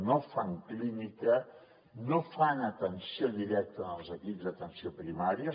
no fan clínica no fan atenció directa en els equips d’atenció primària